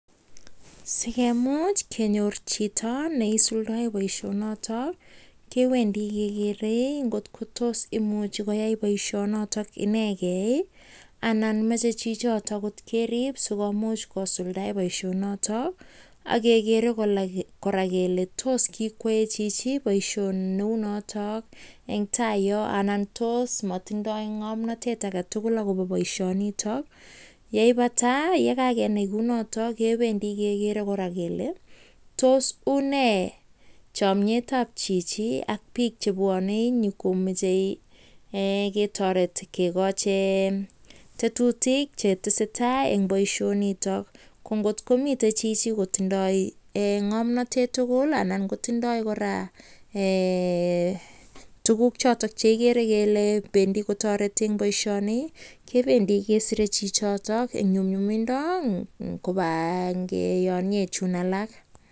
Sigemuuch kenyor Chito neisulndaeee poishoni notok AK kekere Kole tos matindai ngamnatet Ake tugul akopa poishanitak akomuch kekochi chichotok ngamnatet tugul. anan kotindai koraa tuguuk chotok chetos tareet chichotok nii